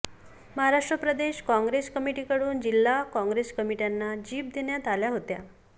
महाराष्ट्र प्रदेश काँग्रेस कमिटीकडून जिल्हा काँग्रेस कमिट्यांना जीप देण्यात आल्या होत्या